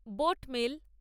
boat mail